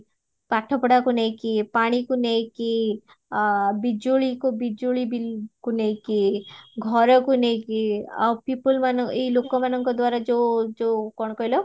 ପାଠ ପଢାକୁ ନେଇକି ପାଣି କୁ ନେଇକି ବିଜୁଳିକୁ ବିଜୁଳି bill କୁ ନେଇକି ଘରକୁ ନେଇକି ଆଉ people ମାନ ଏଇ ଲୋକ ମାନଙ୍କ ଦ୍ଵାରା ଯୋଉ ଯୋଉ କଣ କହିଲ